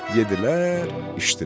Yedilər, içdilər.